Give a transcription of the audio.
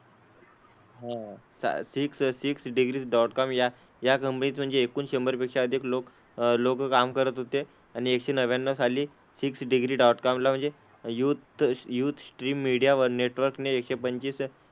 हां. Six six degrees dot com या या कंपनीत म्हणजे एकूण शंभर पेक्षा अधिक लोक अह लोकं काम करत होते आणि एकशे नव्याण्णव साली सिक्स डिग्री डॉटकॉम ला म्हणजे youth youth stream media network ने एकशे पंचवीस,